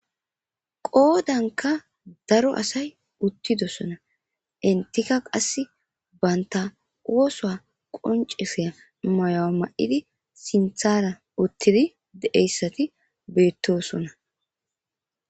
qoodanka daro asay uttidosona intika qass banta oosoa qonceseya mayo mayidi sinthara uttidi deeyssati beettosona